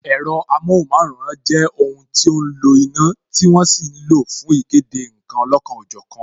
Ẹ̀rọ amohunmaworan jẹ́ ohun tí ó ń lo iná, tí wọ́n sì ń lo fún ìkéde nkan olọ́kan ọ jọ̀kan